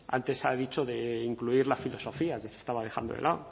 antes se ha dicho de incluir la filosofía que se estaba dejando de lado